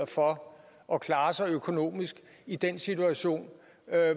for at klare sig økonomisk i den situation